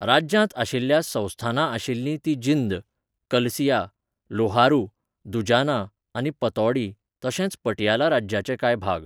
राज्यांत आशिल्ल्या संस्थानां आशिल्लीं तीं जिंद, कलसिया, लोहारू, दुजाना आनी पतौडी, तशेंच पटियाला राज्याचे कांय भाग.